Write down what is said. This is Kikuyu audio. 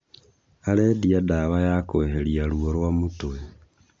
Arendia dawa ya kũehèria ruo rwa mũtwe